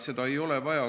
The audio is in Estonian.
Seda ei ole vaja.